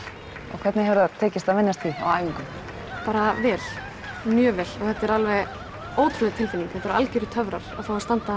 og hvernig hefur tekist að venjast því á æfingum bara vel mjög vel þetta er alveg ótrúleg tilfinning algjörir töfrar að fá að standa